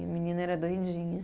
E a menina era doidinha.